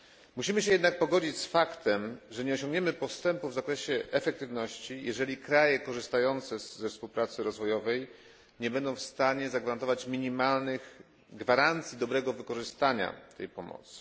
Musimy jednak pogodzić się z faktem, że nie osiągniemy postępu w zakresie efektywności, jeżeli kraje korzystające ze współpracy rozwojowej nie będą w stanie dać minimalnych gwarancji dobrego wykorzystania tej pomocy.